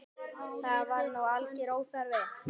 Það var nú algjör óþarfi.